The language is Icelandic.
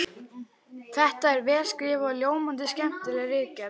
Þetta er vel skrifuð og ljómandi skemmtileg ritgerð!